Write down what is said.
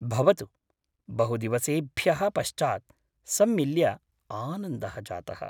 भवतु, बहुदिवसेभ्यः पश्चात् सम्मिल्य आनन्दः जातः।